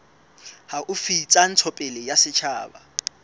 haufi tsa ntshetsopele ya setjhaba